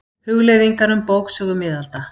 Hugleiðingar um bóksögu miðalda.